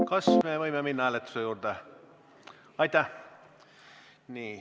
Kas me võime minna hääletuse juurde?